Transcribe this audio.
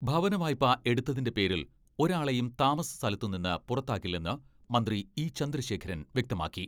ഭവനവായ്പ എടുത്തതിന്റെ പേരിൽ ഒരാളെയും താമസ സ്ഥലത്തുനിന്ന് പുറത്താക്കില്ലെന്ന് മന്ത്രി ഇ.ചന്ദ്രശേഖരൻ വ്യക്തമാക്കി.